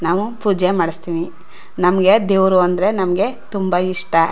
ನಾವು ಪೂಜೆ ಮಾಡ್ಸತ್ತೀವಿ ನಮ್ಮಗೆ ದೇವ್ರು ಅಂದ್ರೆ ನಮ್ಮಗೆ ತುಂಬಾ ಇಷ್ಟ.